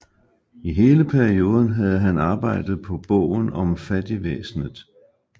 I hele perioden havde han arbejdet på bogen om fattigvæsenet